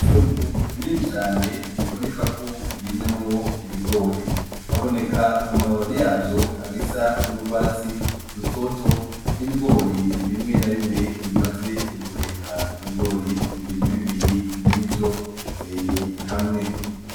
Itongo rinini cane ribonekako ririmyemwo ibigori, haboneka amababi yavyo agisa n'urwatsi rutoto, n'ibigori bimwe na bimwe bimaze guheka ibigori bibiri bibiri murivyo biteye hamwe.